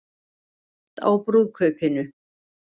Grætt á brúðkaupinu